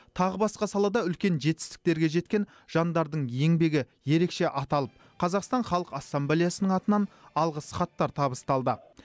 тағы басқа салада үлкен жетістіктерге жеткен жандардың еңбегі ерекше аталып қазақстан халық ассамблеясының атынан алғыс хаттар табысталды